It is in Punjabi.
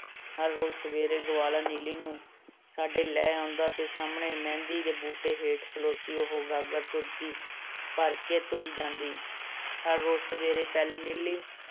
ਹਰ ਰੋਜ਼ ਸਵੇਰੇ ਗਵਾਲਾ ਨੀਲੀ ਨੂੰ ਸਾਡੇ ਲੈ ਆਉਂਦਾ ਅਤੇ ਸਾਹਮਣੇ ਮਹਿੰਦੀ ਦੇ ਬੂਟੇ ਹੇਠ ਖਲੋਤੀ ਉਹ ਗਾਗਰ ਤੁਰਦੀ, ਭਰ ਕੇ ਤੁਰ ਜਾਂਦੀ, ਹਰ ਰੋਜ਼ ਸਵੇਰੇ ਪਹਿਲੇ ਨੀਲੀ